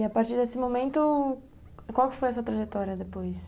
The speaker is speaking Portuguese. E a partir desse momento, qual foi a sua trajetória depois?